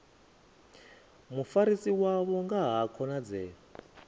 mufarisi wavho nga ha khonadzeo